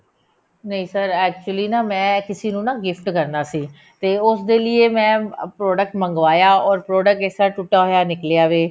ਨਹੀਂ sir actually ਨਾ ਮੈਂ ਕਿਸੀ ਨੂੰ ਨਾ gift ਕਰਨਾ ਸੀ ਤੇ ਉਸਦੇ ਲੀਏ ਮੈਂ ਇਹ product ਮੰਗਵਾਇਆ or product ਇਸ ਤਰ੍ਹਾਂ ਟੁੱਟਿਆ ਹੋਇਆ ਨਿਕਲਿਆ ਵੇ